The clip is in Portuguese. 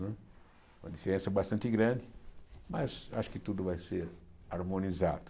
Uma diferença bastante grande, mas acho que tudo vai ser harmonizado.